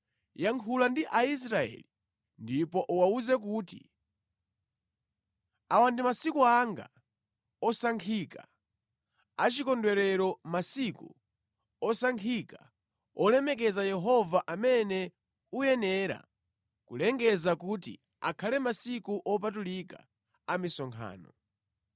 “Yankhula ndi Aisraeli ndipo uwawuze kuti, ‘Awa ndi masiku anga osankhika a chikondwerero, masiku osankhika olemekeza Yehova amene uyenera kulengeza kuti akhale masiku opatulika a misonkhano.